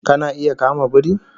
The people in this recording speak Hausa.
Kana iya kama biri?